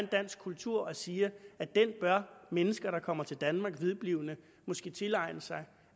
dansk kultur og siger at den bør mennesker der kommer til danmark vedblivende måske tilegne sig